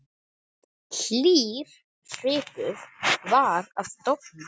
Hlýr svipur var að dofna.